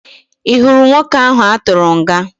Ị hụrụ nwoke ahụ a tụrụ nga?